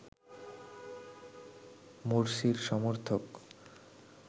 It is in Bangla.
মোরসির সমর্থক